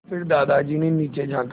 फिर दादाजी ने नीचे झाँका